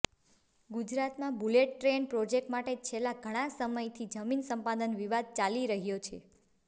ગુજરાતમાં bullet train project માટે છેલ્લા ઘણા સમયથી જમીન સંપાદન વિવાદ ચાલી રહ્યો છે